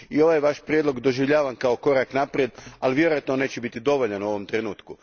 Ovaj vaš prijedlog doživljavam kao korak naprijed, ali vjerojatno neće biti dovoljan u ovom trenutku.